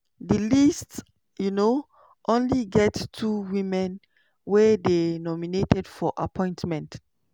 di list um only get two women wey dey nominated for appointment.